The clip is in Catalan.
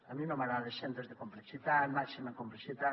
a mi no m’agrada centres de complexitat màxima complexitat